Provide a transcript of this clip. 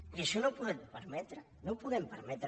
i això no ho podem permetre no ho podem permetre